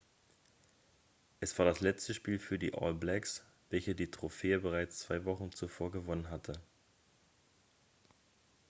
es war das letzte spiel für die all blacks welche die trophäe bereits zwei wochen zuvor gewonnen hatten